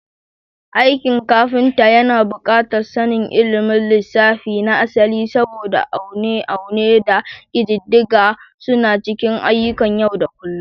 Aikin kafinta yana buƙatar sanin ilimin lissafi na asali, saboda aune-aune da ƙididdiga suna cikin ayyukan yau da kullun.